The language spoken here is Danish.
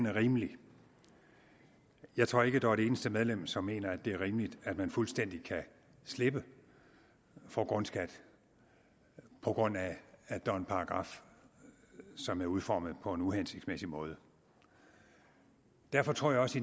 rimelig jeg tror ikke der er et eneste medlem som mener at det er rimeligt at man fuldstændig kan slippe for grundskat på grund af at der er en paragraf som er udformet på en uhensigtsmæssig måde derfor tror jeg også